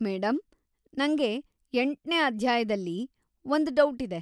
Madam, ನಂಗೆ ಎಂಟನೇ ಅಧ್ಯಾಯ್ದಲ್ಲಿ ಒಂದ್‌ ಡೌಟಿದೆ.